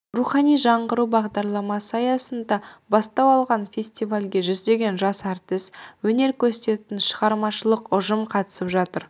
рухани жаңғыру бағдарламасы аясында бастау алған фестивальге жүздеген жас әртіс өнер көрсететін шығармашылық ұжым қатысып жатыр